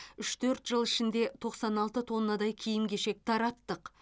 үш төрт жыл ішінде тоқсан алты тоннадай киім кешек тараттық